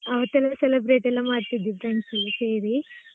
ಅವತ್ತೆಲ್ಲಾ celebrate ಮಾಡ್ತಿದ್ವಿ friends ಎಲ್ಲಾ ಸೇರಿ .